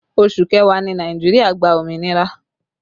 Oṣù kẹwàá ni Nàìjíríà gba òmìnira